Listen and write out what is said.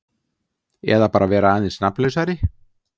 Eða bara vera aðeins nafnlausari.